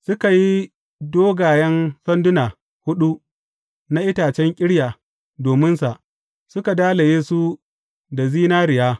Suka yi dogayen sanduna huɗu na itacen ƙirya dominsa, suka dalaye su da zinariya.